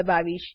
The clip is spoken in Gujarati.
દબાવીશ